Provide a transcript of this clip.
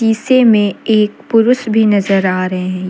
सीसे में एक पुरुष भी नजर आ रहे है।